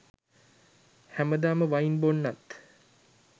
හැමදාම වයින් බොන්නත්